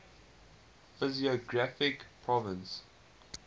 physiographic provinces